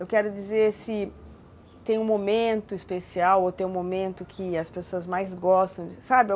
Eu quero dizer se tem um momento especial ou tem um momento que as pessoas mais gostam, sabe?